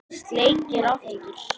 Sleikir aftur.